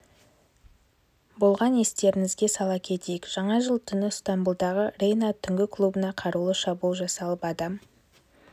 болған естеріңізге сала кетейік жаңа жыл түні ыстамбұлдағы рейна түнгі клубына қарулы шабуыл жасалып адам